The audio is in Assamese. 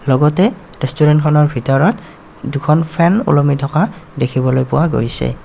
লগতে ৰেষ্টুৰেণ্টখনৰ ভিতৰত দুখন ফেন ওলমি থকা দেখিবলৈ পোৱা গৈছে।